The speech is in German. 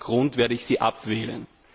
Aus diesem Grund werde ich Sie abwählen.